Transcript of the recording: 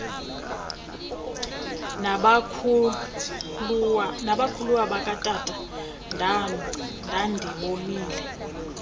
nabakhuluwa bakatata ndandibolile